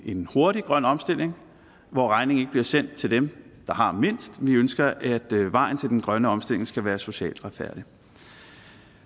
en hurtig grøn omstilling hvor regningen ikke bliver sendt til dem der har mindst vi ønsker at vejen til den grønne omstilling skal være socialt retfærdigt